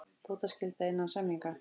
Bótaskylda innan samninga.